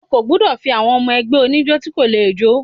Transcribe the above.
O kò gbúdọ̀ fi àwọn ọmọ ẹgbẹ́ oníjó tí kò le jó.